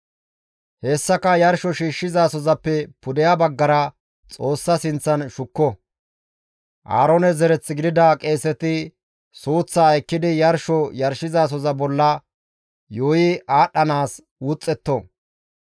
Hessaka yarsho shiishshizasozappe pudeha baggara Xoossa sinththan shukko; Aaroone zereth gidida qeeseti suuththaa ekkidi yarsho yarshizasoza bolla yuuyi aadhdhanaas wuxxetto.